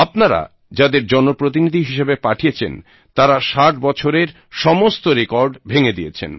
আপনারা যাঁদের জন প্রতিনিধি হিসেবে পাঠিয়েছেন তাঁরা 60 বছরের সমস্ত রেকর্ড ভেঙে দিয়েছেন